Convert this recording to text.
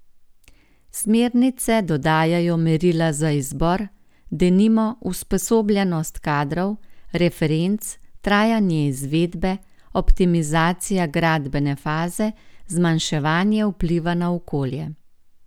Smernice dodajajo merila za izbor, denimo usposobljenost kadrov, referenc, trajanje izvedbe, optimizacija gradbene faze, zmanjševanje vpliva na okolje.